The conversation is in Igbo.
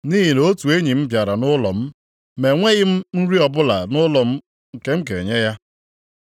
nʼihi na otu enyi m bịara nʼụlọ m, ma enweghị m nri ọbụla nʼụlọ m nke m ga-enye ya.’